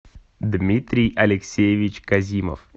дмитрий алексеевич казимов